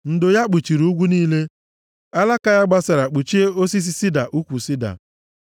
Ndo ya kpuchiri ugwu niile, alaka ya gbasara kpuchie osisi sida ukwu sida.